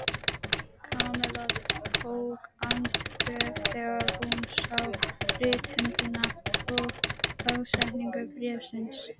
Kamilla tók andköf þegar hún sá rithöndina og dagsetningu bréfsins.